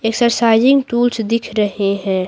Exercising tools दिख रहे हैं।